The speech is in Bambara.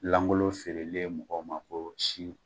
Langolo feerelen mɔgɔw ma ko si